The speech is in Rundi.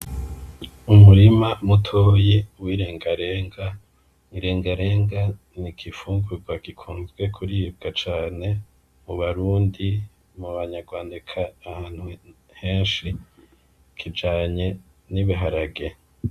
Umurima mutoyi W'irengarenga , irengarenga n'igifungurwa gikunze kuribwa cane mu barundi , mu banyarwanda eka ahantu henshi kijanye n'ibiharage.